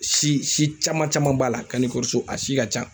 Si si caman caman b'a la kanikɔrɔso, a si ka ca.